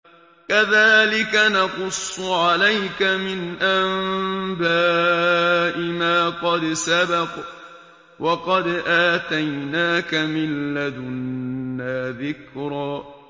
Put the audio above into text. كَذَٰلِكَ نَقُصُّ عَلَيْكَ مِنْ أَنبَاءِ مَا قَدْ سَبَقَ ۚ وَقَدْ آتَيْنَاكَ مِن لَّدُنَّا ذِكْرًا